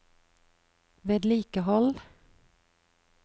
vedlikehold